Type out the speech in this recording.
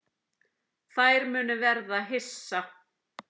Þær munu verða hissa.